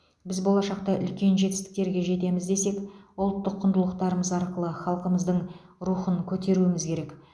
біз болашақта үлкен жетістіктерге жетеміз десек ұлттық құндылықтарымыз арқылы халқымыздың рухын көтеруіміз керек